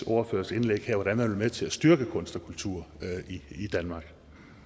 ordførers indlæg her hvordan man vil til at styrke kunst og kultur i danmark